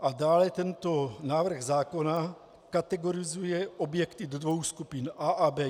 A dále tento návrh zákona kategorizuje objekty do dvou skupin - A a B.